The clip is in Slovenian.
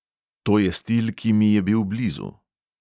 To je stil, ki mi je bil blizu.